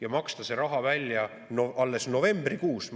Ja maksta see raha välja alles novembrikuus?